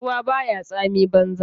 Ruwa baya tsami banza.